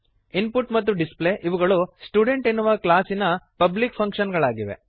input ಮತ್ತು display ಇವುಗಳು student ಎನ್ನುವ ಕ್ಲಾಸಿನ ಪಬ್ಲಿಕ್ ಫಂಕ್ಶನ್ ಗಳಾಗಿವೆ